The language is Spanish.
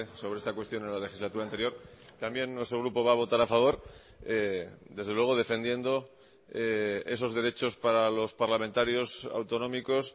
sobre esta cuestión en la legislatura anterior también nuestro grupo va a votar a favor desde luego defendiendo esos derechos para los parlamentarios autonómicos